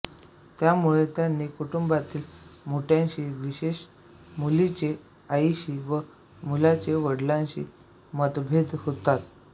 त्यामुळे त्यांचे कुटुंबातील मोठ्यांशी विशेषतः मुलीचे आईशी व मुलाचे वडिलांशी मतभेद होतात